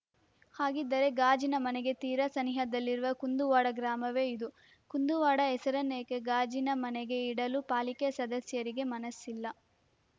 ಹಾಗಿದ್ದರೆ ಗಾಜಿನ ಮನೆಗೆ ತೀರಾ ಸನಿಹದಲ್ಲಿರುವ ಕುಂದುವಾಡ ಗ್ರಾಮವೇ ಇದ್ದು ಕುಂದುವಾಡ ಹೆಸರನ್ನೇಕೆ ಗಾಜಿನ ಮನೆಗೆ ಇಡಲು ಪಾಲಿಕೆ ಸದಸ್ಯರಿಗೆ ಮನಸ್ಸಿಲ್ಲ